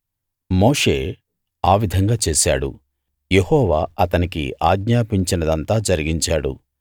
మోషే ఆ విధంగా చేశాడు యెహోవా అతనికి ఆజ్ఞాపించినదంతా జరిగించాడు